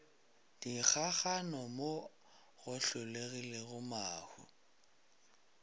dikgakgano mo go hlolegilego mahu